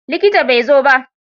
Likita bai zo ba?